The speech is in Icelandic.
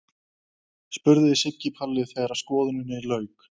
spurði Siggi Palli þegar skoðuninni lauk.